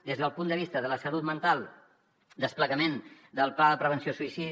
des del punt de vista de la salut mental desplegament del pla de prevenció del suïcidi